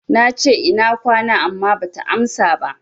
Nace, Ina kwana, amma bata amsa ba.